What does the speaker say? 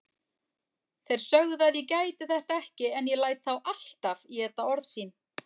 Þeir sögðu að ég gæti þetta ekki en ég læt þá alltaf éta orð sín